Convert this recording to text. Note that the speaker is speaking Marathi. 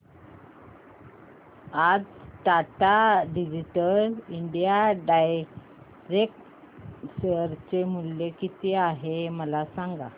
आज Tata digital India direct share चे मूल्य किती आहे मला सांगा